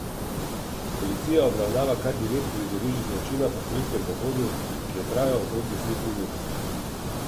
Policija obravnava kar devet prizorišč zločina po strelskem pohodu, ki je trajal okrog deset minut.